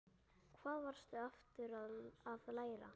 Hvað varstu aftur að læra?